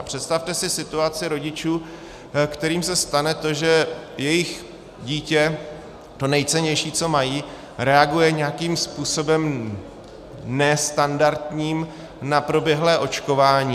A představte si situaci rodičů, kterým se stane to, že jejich dítě, to nejcennější, co mají, reaguje nějakým způsobem nestandardním na proběhlé očkování.